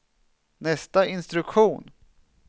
nästa instruktion